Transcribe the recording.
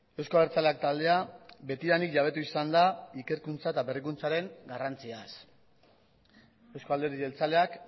euzko abertzaleak taldea betidanik jabetu izan da ikerkuntza eta berrikuntzaren garrantziaz euzko alderdi jeltzaleak